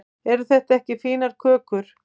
eru þetta ekki fínar kökur